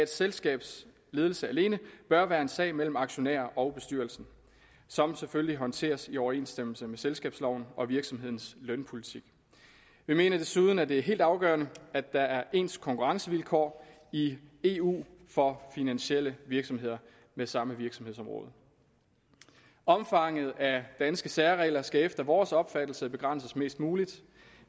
selskabs ledelse alene bør være en sag mellem aktionærer og bestyrelse som selvfølgelig håndteres i overensstemmelse med selskabsloven og virksomhedens lønpolitik vi mener desuden at det er helt afgørende at der er ens konkurrencevilkår i eu for finansielle virksomheder med samme virksomhedsområde omfanget af danske særregler skal efter vores opfattelse begrænses mest muligt